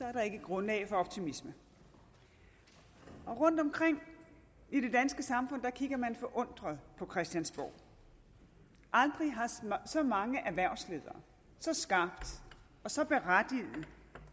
er der ikke grundlag for optimisme rundtomkring i det danske samfund kigger man forundret på christiansborg aldrig har så mange erhvervsledere så skarpt og så berettiget